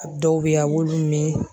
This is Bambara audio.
A dɔw bɛ yen a b'olu min